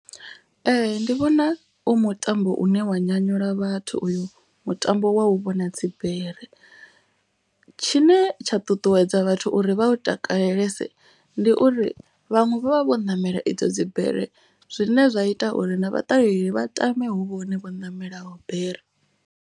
Ee ndi vhona u mutambo une wa nyanyula vhathu uyu mutambo wa u vhona dzibere. Tshine tsha ṱuṱuwedza vhathu uri vha u takalelese ndi uri vhaṅwe vha vha vho namela idzo dzibere. Zwine zwa ita uri na vhaṱaleli vha tame hu vhone vho ṋamela bere.